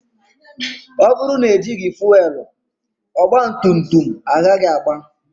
Ọ bụrụ na ejighi fuelu, ogba tum tum agaghị aga